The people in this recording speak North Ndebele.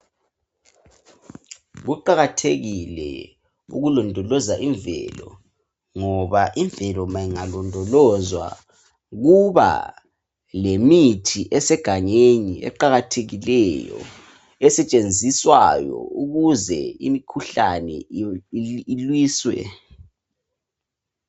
Kuqakathekile ukulondoloza imvelo ngoba imvelo ma ingalondolozwa kuba lemithi esegangeni eqakathekileyo esetshenziswayo ukuze imkhuhlane ilwiswe